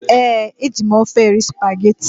Ee, e ji m ofe eri spageti.